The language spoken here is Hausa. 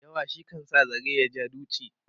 yawa shi kan sa zare ya ja duchi